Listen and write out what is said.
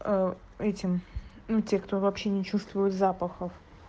этим ну те кто вообще не чувствует запахов